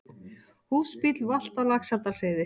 Húsbíll valt á Laxárdalsheiði